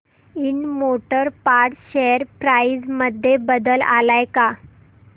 Ind motor parts share price मध्ये बदल आलाय का